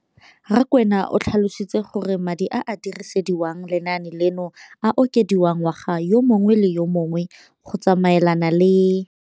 Rakwena o tlhalositse gore madi a a dirisediwang lenaane leno a okediwa ngwaga yo mongwe le yo mongwe go tsamaelana le.